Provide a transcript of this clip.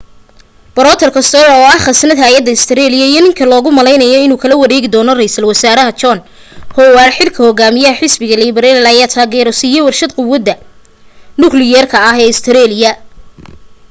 peter costello oo ah khasnad hayaha australia iyo ninka logu malaynaayo inuu kala wareegi doono raysal wasaaraha john howard xilka hogaamiyaha xisbiga liberal ayaa taageero siiyay warshad quwadda nukliyeerka ee australia